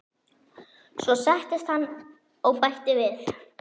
Svo settist hann og bætti við